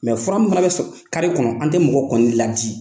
fura mun bɛ kɔnɔ an tɛ mɔgɔ kɔnɔni laadi.